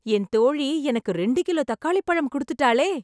என் தோழி, எனக்கு ரெண்டு கிலோ தக்காளிப்பழம் குடுத்துட்டாளே...